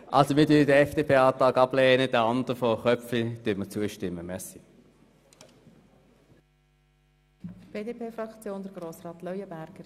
Wir lehnen den FDP-Antrag ab, demjenigen der glp stimmen wir zu.